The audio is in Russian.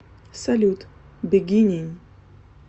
салют бегинин